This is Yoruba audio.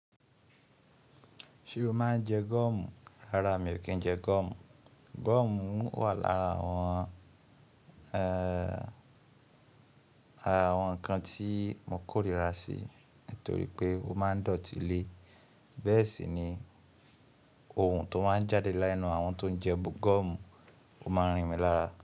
Ṣé o máa ń jẹ gọ́ọ̀mù? Rárá mi ò kí ń jẹ gọ́ọ̀mù. Gọ́ọ̀mù wà lára àwọn ara awon nǹkan tí mo kórìíra sí nítorí pé ó máa ń dọ̀tí le. Bẹ́ẹ̀ sì ni ohun tó máa ń jáde lẹ́nú àwọn tó ń jẹ gọ́ọ̀mù ó máa ń rìn mí lára.